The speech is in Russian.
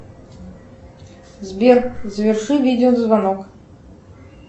сбер заверши видеозвонок